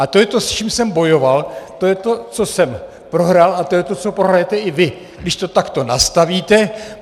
A to je to, s čím jsem bojoval, to je to, co jsem prohrál, a to je to, co prohrajete i vy, když to takto nastavíte.